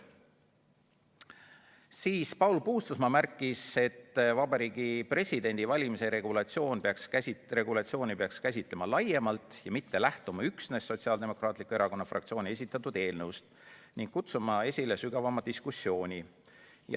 Siis märkis Paul Puustusmaa, et Vabariigi Presidendi valimise regulatsiooni peaks käsitlema laiemalt, mitte lähtuma üksnes Sotsiaaldemokraatliku Erakonna fraktsiooni esitatud eelnõust, ning kutsuma esile sügavama diskussiooni.